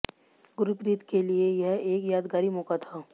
गुरप्रीत के लिए यह एक यादगारी मौका था